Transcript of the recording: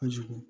Kojugu